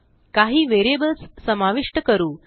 काही व्हेरिएबल्स समाविष्ट करू